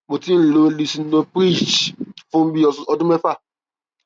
mo ti ń lo lisinoprilhctz fún bí i ọdún mẹfà